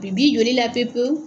Bi bi joli la pewu pewu